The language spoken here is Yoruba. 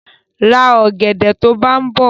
Ra ọ̀gẹ̀dẹ̀ to bá ń bọ̀!